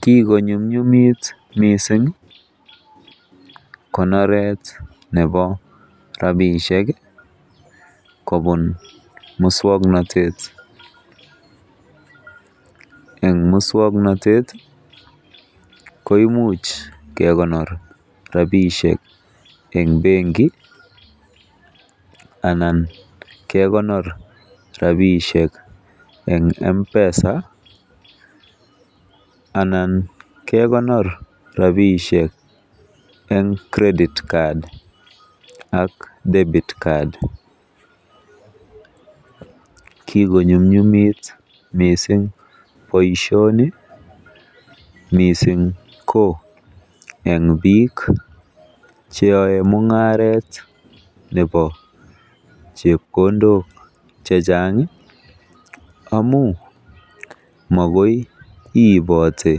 Kigonyumnyumit mising konoret nebo rabishek kobun moswaknatet, en muswoknatet koimuch kekonor rabishek en benki anan kekonor rabishek en M-Pesa anan kekonor rabishek en credit card ak debit card kigonyumnyumit mising boisioni mising ko en biik che yoe mung'aret nebo chepkondok chechang amun mokoi ibote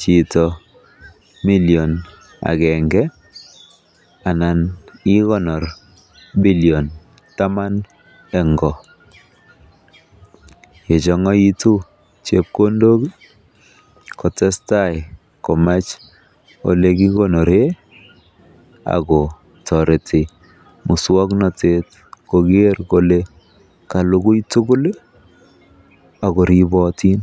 chito million agenge anan ikonor billion taman en go. Yechong'aitu chepkondok kotestai komach ole kigonoren ago toreti muswaknatet koger kole kalugui tugul ago ripotin.